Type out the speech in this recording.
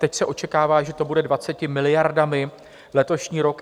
Teď se očekává, že to bude 20 miliardami, letošní rok.